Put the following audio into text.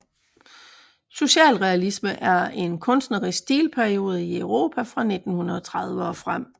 Socialrealisme er en kunstnerisk stilperiode i Europa fra 1930 og frem